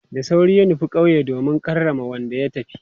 Da sauri ya nufi kauye domin karrama wanda ya tafi.